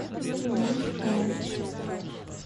мейтан